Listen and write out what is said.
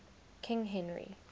king henry